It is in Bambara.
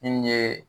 Min ye